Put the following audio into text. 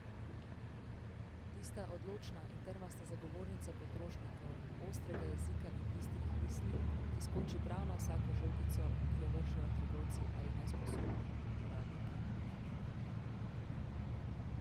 Tista odločna in trmasta zagovornica potrošnikov, ostrega jezika in bistrih misli, ki skoči prav na vsako žogico, ki jo vržejo trgovci ali nesposobni uradniki.